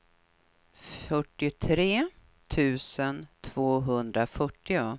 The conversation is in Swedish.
fyrtiotre tusen tvåhundrafyrtio